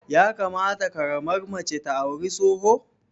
Ya kamata ƙaramar mace ta auri tsoho?